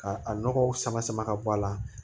Ka a nɔgɔw sama sama ka bɔ a la